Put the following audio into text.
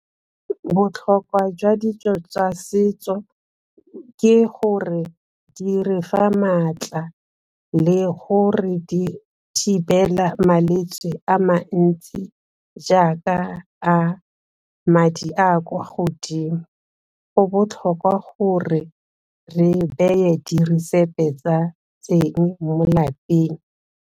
Botlhokwa jwa dijo tsa setso ke gore di re fa maatla le gore di thibela malwetse a mantsi jaaka a madi a a kwa godimo. Go botlhokwa gore re beye diresepi tsa teng mo lapeng.